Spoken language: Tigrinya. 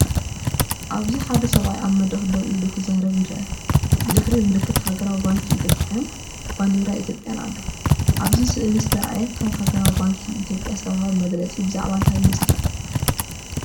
ኣብዚ ሓደ ሰብኣይ ኣብ መድረክ ደው ኢሉ ክዛረብ ይርአ። ብድሕሪኡ ምልክት ሃገራዊ ባንኪ ኢትዮጵያን ብባንዴራ ኢትዮጵያ ኣሎ። ኣብ ስእሊ ዝተርኣየ ካብ ሃገራዊ ባንኪ ኢትዮጵያ ዝተውሃበ መግለፂ ብዛዕባ እንታይ ይመስለኩም?